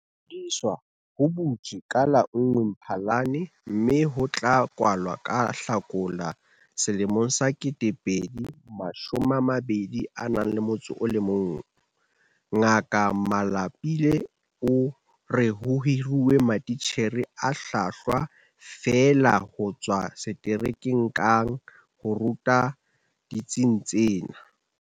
Ho ingodisa ho butsi ka la1 Mphalane mme ho tla kwala ka Hlakola 2021. Ngaka Malapile o re ho hiruwe matitjhere a hlwahlwa feela ho tswa seterekeng kang ho ruta ditsing tsena.